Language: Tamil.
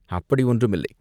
அப்படி ஒன்றுமில்லை.